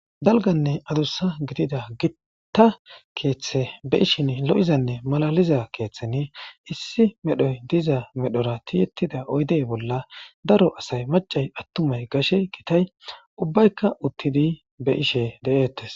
Dalganne adussa gidida gita keeththe be'ishin lo'izanne malaliza keeththeni issi medhoyi diza medhora tiyettida oyde bolla daro asay attumay maccay gashey gitay ubbaykka uttidi be'ishe de'etes